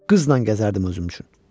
Qızla gəzərdim özüm üçün.